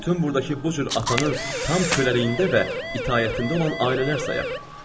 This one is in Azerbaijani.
bütün burdakı bu cür atanın tam köləliyində və ixtiyarında olan ailələr sayaq.